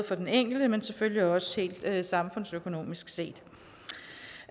for den enkelte men selvfølgelig også samfundsøkonomisk set